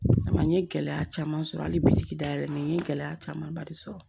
A ma n ye gɛlɛya caman sɔrɔ hali bitigi dayɛlɛ n ye gɛlɛya camanba de sɔrɔ